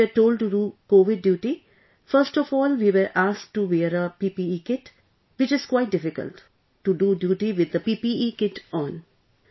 When we were told to do COVID duty, first of all, we were asked to wear a PPE Kit, which is quite difficult... to do duty with the PPE Kit on